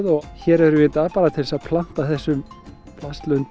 og hér erum við í dag bara til að planta þessum